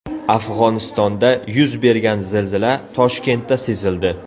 Afg‘onistonda yuz bergan zilzila Toshkentda sezildi.